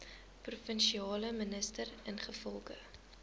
provinsiale minister ingevolge